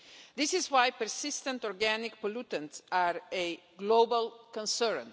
This is why persistent organic pollutants are a global concern.